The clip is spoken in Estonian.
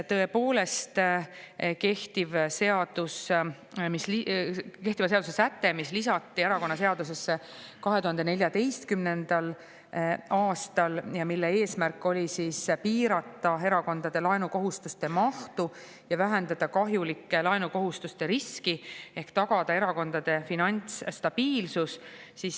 Tõepoolest, see kehtiva seaduse säte lisati erakonnaseadusesse 2014. aastal ja selle eesmärk oli piirata erakondade laenukohustuste mahtu ja vähendada kahjulike laenukohustuste riski ehk tagada erakondade finantsstabiilsus.